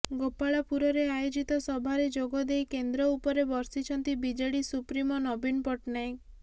ଗୋପାଳପୁରରେ ଆୟୋଜିତ ସଭାରେ ଯୋଗଦେଇ କେନ୍ଦ୍ର ଉପରେ ବର୍ଷିଛନ୍ତି ବିଜେଡି ସୁପ୍ରିମୋ ନବୀନ ପଟ୍ଟନାୟକ